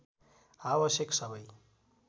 आवश्यक सबै